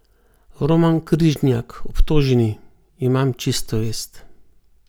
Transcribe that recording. Roman Križnjak, obtoženi: "Imam čisto vest.